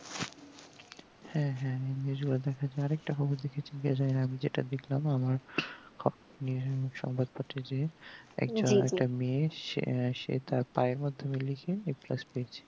হ্যাঁ হ্যাঁ এই জিনিস গুলা দেখাচ্ছে আর একটা খবর দেখেছি যে আমি যেটা দেখলাম আমার সংবাদ পত্রে যে মেয়ে সেতার পায়ের মাধ্যমে লিখে a plus